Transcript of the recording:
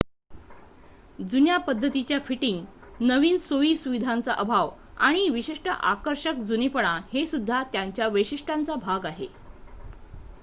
जुन्या पद्धतीच्या फिटिंग नवीन सोई सुविधांचा अभाव आणि विशिष्ट आकर्षक जुनेपणा हे सुद्धा त्यांच्या वैशिष्ट्यांचा भाग आहेत